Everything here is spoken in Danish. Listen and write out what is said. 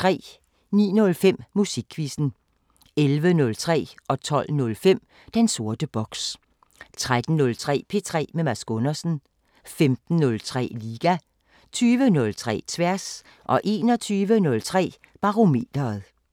09:05: Musikquizzen 11:03: Den sorte boks 12:05: Den sorte boks 13:03: P3 med Mads Gundersen 15:03: Liga 20:03: Tværs 21:03: Barometeret